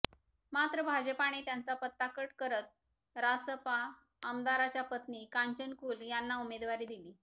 मात्र भाजपने त्यांचा पत्ता कट करत रासपा आमदाराच्या पत्नी कांचन कुल यांना उमेदवारी दिली